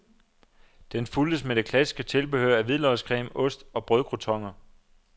Den fulgtes med det klassiske tilbehør af hvidløgscreme, ost og brødcroutoner.